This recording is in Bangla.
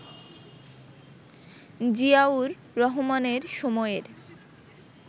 জিয়াউর রহমানের সময়ের